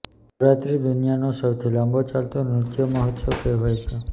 નવરાત્રિ દુનિયાનો સૌથી લાંબો ચાલતો નૃત્ય મહોત્સવ કહેવાય છે